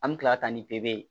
An bɛ kila ka taa ni pere ye